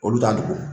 Olu t'a dogo